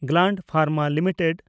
Gland Pharma limited